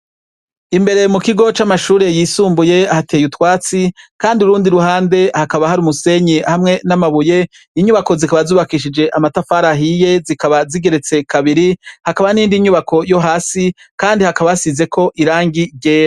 Imbere mu kigo c'amashure yisumbuye hateye utwatsi, kandi urundi ruhande hakaba hari umusenyi hamwe n'amabuye, inyubako zikaba zubakishike amatafari ahiye zikaba zigeretse kabiri, hakaba n'iyindi nyubako yo hasi kandi hakaba hasizeko irangi ryera.